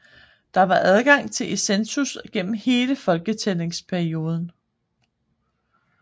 Der var adgang til eCensus gennem hele folketællingsperioden